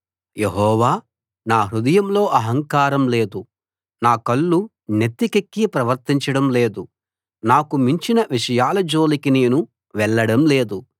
యెహోవా నా హృదయంలో అహంకారం లేదు నా కళ్ళు నెత్తికెక్కి ప్రవర్తించడం లేదు నాకు మించిన విషయాల జోలికి నేను వెళ్ళడం లేదు